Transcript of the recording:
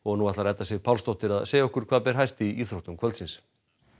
nú ætlar Edda Sif Pálsdóttir að segja okkur hvað ber hæst í íþróttum kvöldsins